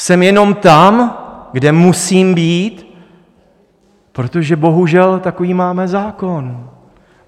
Jsem jenom tam, kde musím být, protože bohužel, takový máme zákon.